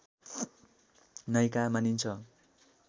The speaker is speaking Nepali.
नायिका मानिन्छ